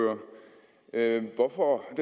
jeg at det